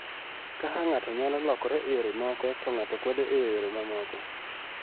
Kaka ng�ato nyalo lokore e yore moko to ng�ato kwedo e yore mamoko.